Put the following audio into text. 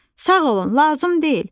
"Sağ olun, lazım deyil.